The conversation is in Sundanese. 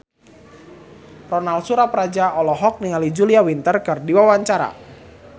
Ronal Surapradja olohok ningali Julia Winter keur diwawancara